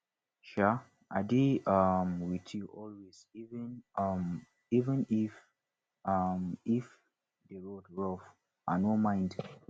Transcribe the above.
um i dey um with you always even um if even um if the road rough i no mind